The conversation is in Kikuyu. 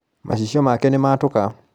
macicio make nĩmatũka.